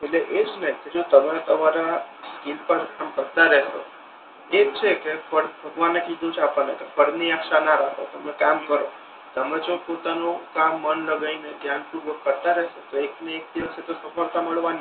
એટલે એજ ને જો તમે તમારા સ્કિલ પર કામ કરતા રહેશો તો છે કે ભગવાને કીધુ છે આપડને ફળ ની આશા ના રાખો તમે કામ કરો તમે જો પોતાનુ કામ મન લગાઈ ને ધ્યાન પૂર્વક કરતા રેહશો તો એક ને એક દિવસ તો સફળતા મળવાની જ છે.